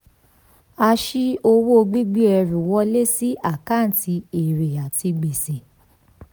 a sì owó gbígbé ẹrù wọlé sí àkáǹtì èrè àti gbèsè.